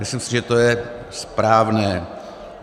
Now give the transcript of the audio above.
Myslím si, že to je správné.